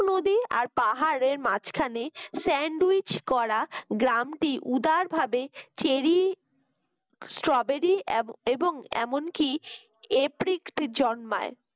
আর পাহাড়ের মাঝখানে sandwich করা গ্রামটি উদারভাবে cherry strawberry এব এবং এমনকি apix জন্মায়